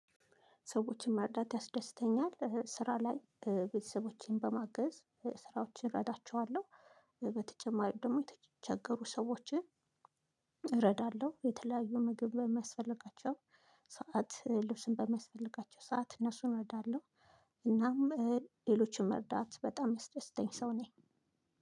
ሰዎችን መርዳት ያስደስተኛል ስራ ላይ ቤተሰቦቼን በማገዝ ስራዎችን እረዳቸዋለሁ። በተጨማሪ ደግሞ የተቸገሩ ሰዎችን እረዳለሁ። የተለያዩ ምግብ በሚያስፈልጋቸው ሰዓት ልብስም በሚስፈልጋቸው ሰዓት እነሱን እረዳለሁ። እናም ሌሎችን መርዳት በጣም የሚያስደስተኝ ሰው ነኝ።